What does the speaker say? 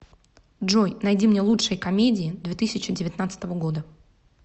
джой найди мне лучшие комедии две тысячи девятнадцатого года